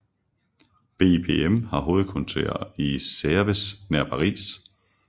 BIPM har hovedkvarter i Sevres nær Paris